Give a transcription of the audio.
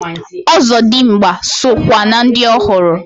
Ọzọdimgba so kwa na ndi ohụrụ.